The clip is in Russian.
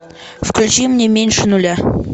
включи мне меньше нуля